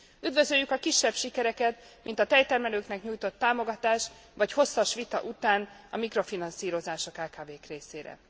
Üdvözöljük a kisebb sikereket, mint a tejtermelőknek nyújtott támogatás, vagy hosszas vita után a mikrofinanszírozás a kkv k részére.